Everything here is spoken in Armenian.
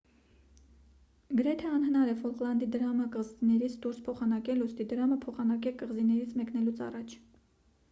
գրեթե անհնար է ֆոլկլանդի դրամը կղզիներից դուրս փոխանակել ուստի դրամը փոխանակեք կղզիներից մեկնելուց առաջ